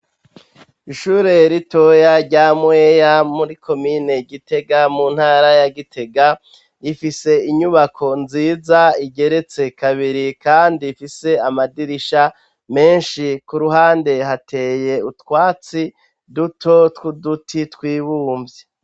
Ishure ritoya rya mueya muri komine gitega mu ntara ya gitega ifise inyubako nziza igeretse kabiri kandi ifise amadirisha menshi ku ruhande hateye utwatsi duto twuduti tw'ibumbye.